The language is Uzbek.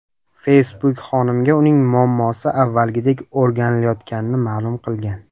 Facebook xonimga uning muammosi avvalgidek o‘rganilayotganini ma’lum qilgan.